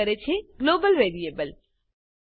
રજૂ કરે છે ગ્લોબલ વેરિયેબલ